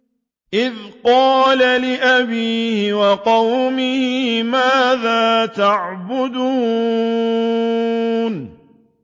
إِذْ قَالَ لِأَبِيهِ وَقَوْمِهِ مَاذَا تَعْبُدُونَ